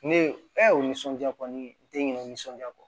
Ne e nisɔndiya kɔni den nisɔndiya kɔ